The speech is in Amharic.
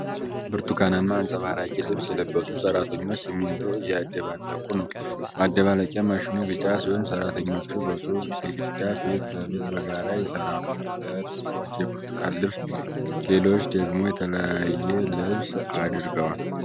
በብርቱካናማ አንጸባራቂ ልብስ የለበሱ ሠራተኞች ሲሚንቶ እያደባለቁ ነው። ማደባለቂያ ማሽኑ ቢጫ ሲሆን፣ ሠራተኞቹ በጡብ ግድግዳ ፊት ለፊት በጋራ ይሰራሉ። ሁለት ሰዎች የብርቱካን ልብስ፣ ሌሎች ደግሞ የተለያየ ልብስ አድርገዋል።